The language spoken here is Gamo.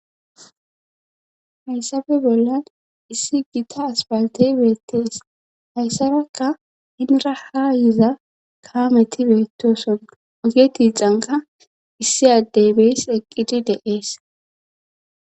Hayssabe bollan issi gita aspaltey beettees hayssarakka inra ha yiza kaameti beetoson oge tiixanka issi addeybees eqqidi de7ees.